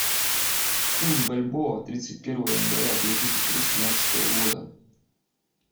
курс бальбоа тридцать первое января две тысячи восемнадцатого года